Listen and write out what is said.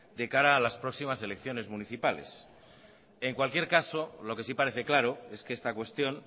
de cara a las próximas elecciones municipales en cualquier caso lo que sí parece claro es que esta cuestión